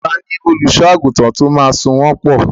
Ta ni olùṣọ́-àgùntàn tí ó máa so wọ́n pọ̀?